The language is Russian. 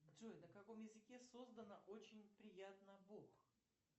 джой на каком языке создано очень приятно бог